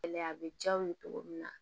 Gɛlɛya a bɛ diya aw ye cogo min na